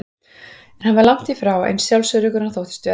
En hann var langt í frá eins sjálfsöruggur og hann þóttist vera.